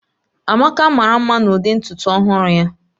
Amaka mara mma n'ụdị ntutu ọhụrụ ya